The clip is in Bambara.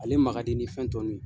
Ale makadi ni fɛn tɔ ninnu ye.